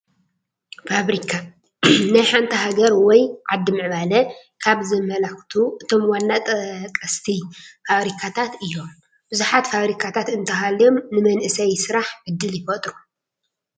ፋብሪካ፡- ናይ ሓንቲ ሃገር ወይ ዓዲ ምዕባለ ካብ ዘመላኽቱ እቶም ዋና ተጠቐስቲ ፋብሪካታት እዮም፡፡ ብዙሓት ፋብሪካታት እንተሃልዮም ንመናእሰይ ስራሕ ዕድል ይፈጥሩ፡፡